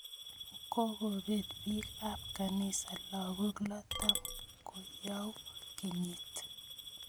Kokopet piik ap kanisa lagok lo tap koyou kenyit.